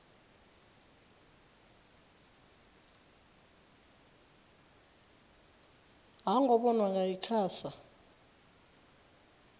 ha nga vhonwa nga icasa